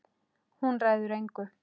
Hún ræður engu.